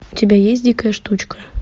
у тебя есть дикая штучка